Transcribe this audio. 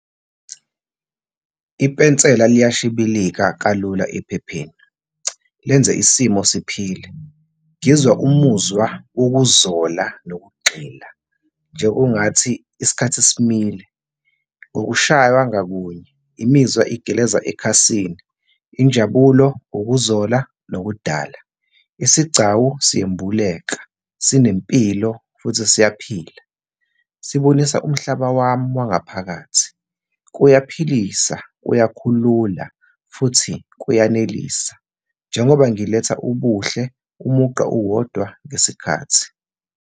Ipensela siyashibilika kalula ephepheni, lenze isimo siphile. Ngizwa umuzwa wokuzola nokugxila, njekungathi isikhathi simile, ngokushaywa ngakunye, imizwa igeleza ekhasini, injabulo, ukuzola nokudala. Isigcawu siyembuleka, sinempilo futhi siyaphila. Sibonisa umhlaba wami wangaphakathi. Kuyaphilisa, kuyakhulula, futhi kuyaneliseka. Njengoba ngiletha ubuhle, umugqa uwodwa ngesikhathi.